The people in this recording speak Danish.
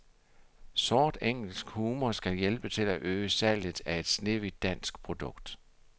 Sort engelsk humor skal hjælpe til at øge salget af et snehvidt dansk produkt.